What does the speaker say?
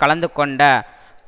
கலந்து கொண்ட